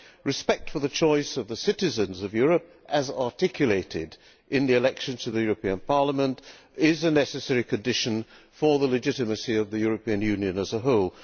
Respect for the choice of the citizens of Europe, as articulated in the elections to the European Parliament, is a necessary condition for the legitimacy of the European Union as a whole.